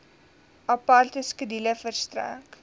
aparte skedule verstrek